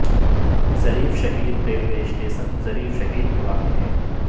Zarif Shaheed railway station Zarif Shaheed میں واقع ہے